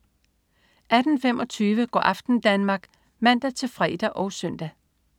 18.25 Go' aften Danmark (man-fre og søn)